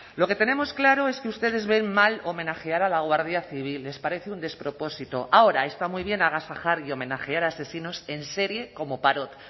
lo que tenemos claro es que ustedes ven mal homenajear a la guardia civil les parece un despropósito ahora está muy bien agasajar y homenajear a asesinos en serie como parot